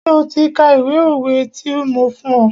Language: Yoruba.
Ṣé o ti ka ìwé òwe ti mo fún ọ?